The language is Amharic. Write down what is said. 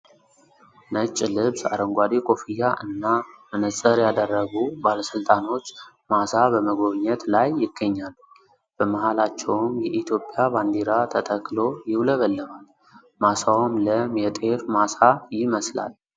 ነጭ ልብስ ፣አረንጓዴ ኮፍያ እና መነጽር ያደረጉ ባለስልጣኖች ማሳ በመጎብኘት ላይ ይገኛሉ። በመሃላቸውም የኢትዮጵያ ባንዲራ ተተክሎ ይውለበለባል። ማሳውም ለም የጤፍ ማሳ ይመስላል።